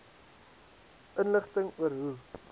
inligting oor hoe